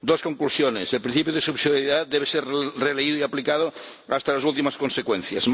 Dos conclusiones el principio de subsidiariedad debe ser releído y aplicado hasta las últimas consecuencias.